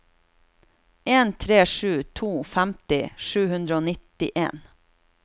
en tre sju to femti sju hundre og nittien